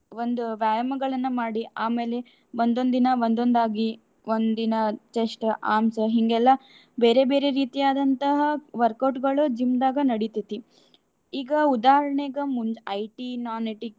ಒಂದು ವ್ಯಾಯಾಮಗಳನ್ನ ಮಾಡಿ. ಆಮೇಲೆ ಒಂದೊಂದು ದಿನ ಒಂದೊಂದು ಆಗಿ ಒಂದ್ ದಿನ chest, arms ಹಿಂಗೆಲ್ಲಾ ಬೇರೆ ಬೇರೆ ರೀತಿಯಾದಂತಹ workout ಗಳು gym ದಾಗ ನಡಿತೇತಿ. ಈಗ ಉದಾಹರಣೆಗ ಮುಂದ್ IT non IT .